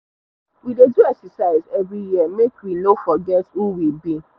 we dey do exercise every year make we no forget who we be